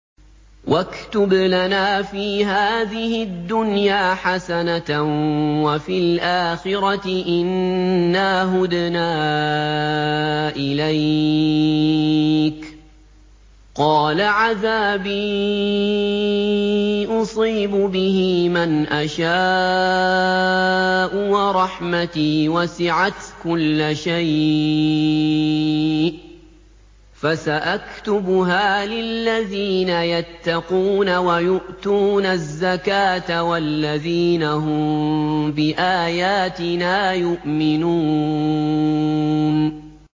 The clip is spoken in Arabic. ۞ وَاكْتُبْ لَنَا فِي هَٰذِهِ الدُّنْيَا حَسَنَةً وَفِي الْآخِرَةِ إِنَّا هُدْنَا إِلَيْكَ ۚ قَالَ عَذَابِي أُصِيبُ بِهِ مَنْ أَشَاءُ ۖ وَرَحْمَتِي وَسِعَتْ كُلَّ شَيْءٍ ۚ فَسَأَكْتُبُهَا لِلَّذِينَ يَتَّقُونَ وَيُؤْتُونَ الزَّكَاةَ وَالَّذِينَ هُم بِآيَاتِنَا يُؤْمِنُونَ